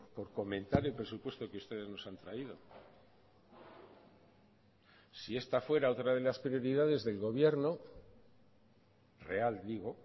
por comentar el presupuesto que ustedes nos han traído si esta fuera otra de las prioridades del gobierno real digo